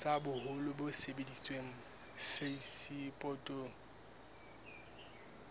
tsa boholo bo sebediswang phasepotong